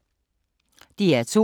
DR2